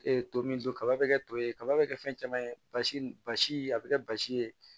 to min don kaba bɛ kɛ to ye kaba bɛ kɛ fɛn caman ye basi a bɛ kɛ basi ye